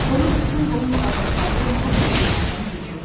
Onun bütün qohum qardaşları nə vaxtdır dünyadan köçüb.